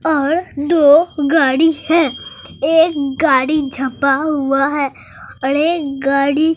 और दो गाड़ी है एक गाड़ी झपा हुआ है और एक गाड़ी--